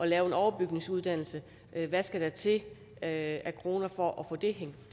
lave en overbygningsuddannelse hvad skal der til af kroner for at få det